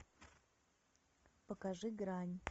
покажи грань